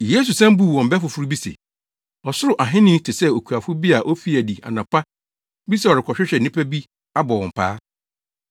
Yesu san buu wɔn bɛ foforo bi se, “Ɔsoro Ahenni te sɛ okuafo bi a ofii adi anɔpa bi sɛ ɔrekɔhwehwɛ nnipa abɔ wɔn paa.